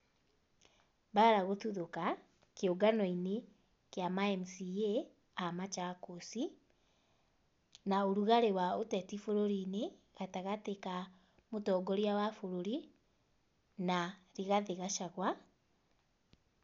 Mbaara gũtuthũka kĩũngano-inĩ kĩa ma MCA a Machakos, na ũrugari wa ũteti bũrũri-inĩ gatagatĩ ka mũtongoria wa bũrũri na Rigathi Gachagua.